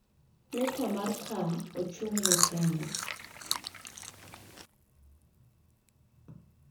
Nyukta mar K ochung'ne Kenya.